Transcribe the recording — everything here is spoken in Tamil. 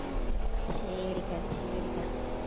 சரிகா சரிகா